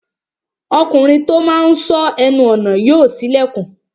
Ọkùnrin tó máa n sọ́ ẹnu ọnà yóò ṣí ilẹ̀kùn